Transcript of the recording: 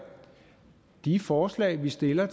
at de forslag vi stiller